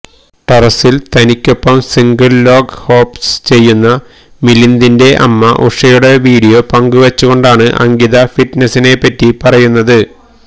ടെറസില് തനിക്കൊപ്പം single leg hops ചെയ്യുന്ന മിലിന്ദിന്റെ അമ്മ ഉഷയുടെ വീഡിയോ പങ്കുവച്ചുകൊണ്ടാണ് അങ്കിത ഫിറ്റ്നെസ്സിനെ പറ്റി പറയുന്നത്